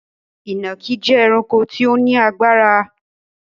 Ìnàkí jẹ ẹranko tí ó ní agbára